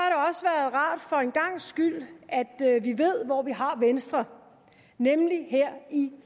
rart for en gangs skyld ved hvor vi har venstre nemlig her i